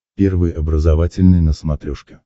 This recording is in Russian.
первый образовательный на смотрешке